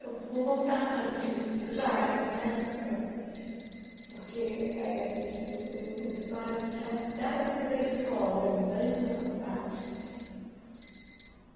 Eu vou voltar antes vai de você chegar nessa época, porque eh a gente vê que você tem muitas histórias é da época da escola ainda, antes da faculdade.